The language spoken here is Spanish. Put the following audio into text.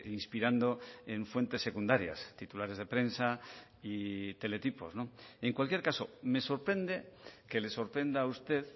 inspirando en fuentes secundarias titulares de prensa y teletipos en cualquier caso me sorprende que le sorprenda a usted